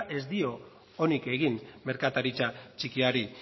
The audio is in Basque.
ez dio onik egin merkataritza txikiri